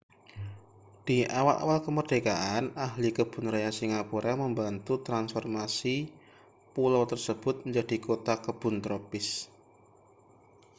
di awal-awal kemerdekaan ahli kebun raya singapura membantu transformasi pulau tersebut menjadi kota kebun tropis